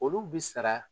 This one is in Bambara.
Olu bi sara